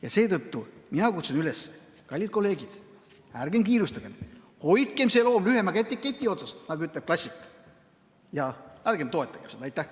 Ja seetõttu kutsun ma teid üles: kallid kolleegid, ärgem kiirustagem, hoidkem see loom lühema keti otsas, nagu ütleb klassik, ja ärgem toetagem seda eelnõu.